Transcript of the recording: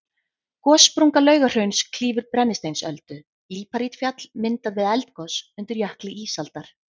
Gossprunga Laugahrauns klýfur Brennisteinsöldu, líparítfjall myndað við eldgos undir jökli ísaldar.